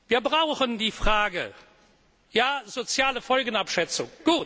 Wir brauchen die Frage der sozialen Folgenabschätzung.